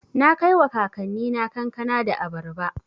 Na kaiwa kakannina kankana da abarba.